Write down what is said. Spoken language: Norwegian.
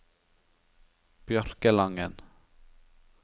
Bjørkelangen